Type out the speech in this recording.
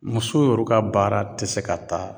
Muso yorow ka baara te se ka taa